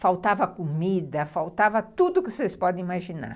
faltava comida, faltava tudo que vocês possam imaginar.